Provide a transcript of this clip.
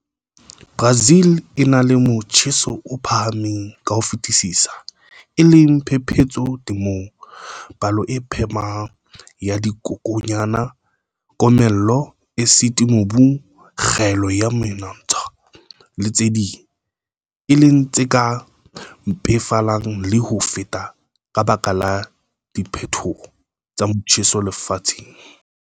Brazil e na le motjheso o phahamng ka ho fetisisa, e leng phephetso temong, palo e phahameng ya dikokwanyana, komello, esiti mobung, kgaello ya menontsha, le tse ding, e leng tse ka mpefalang le ho feta ka baka la diphetoho tsa motjheso lefatsheng.